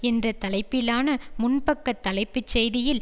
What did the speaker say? என்ற தலைப்பிலான முன்பக்கத் தலைப்புச் செய்தியில்